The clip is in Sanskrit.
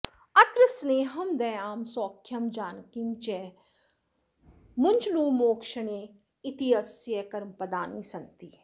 अत्र स्नेहं दयां सौख्यं जानकीं च मुचॢँ मोक्षणे इत्यस्य कर्मपदानि सन्ति